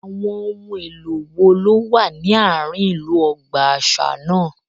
Àwọn ohun èlò wo ló wà ní àárín ìlú ọgbà àṣà náà